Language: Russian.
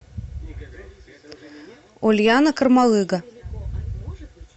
ульяна кармалыга